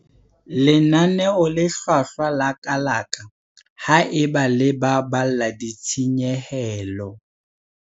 Lenaneo le hlwahlwa la kalaka ha eba le baballa ditshenyehelo.